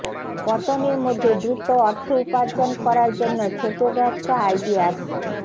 পতনের মধ্যে দ্রুত অর্থ উপার্জন করার জন্য ছোট ব্যবসা আইডিয়াস